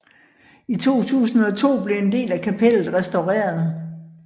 I 2002 blev en del af kapellet restaureret